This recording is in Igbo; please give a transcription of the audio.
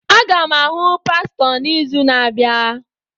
Aga m ahụ pastọ n'izu na-abịa.